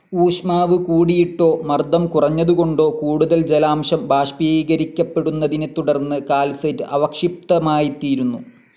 ഊഷ്മാവ് കൂടിയിട്ടോ, മർദം കുറഞ്ഞതുകൊണ്ടോ കൂടുതൽ ജലാംശം ബാഷ്പീകരിക്കപ്പെടുന്നതിനെത്തുടർന്ന് കാൽസൈറ്റ്‌ അവക്ഷിപ്തമായിത്തീരുന്നു.